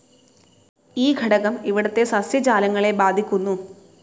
ഈ ഘടകം ഇവിടത്തെ സസ്യജാലങ്ങളെ ബാധിക്കുന്നു.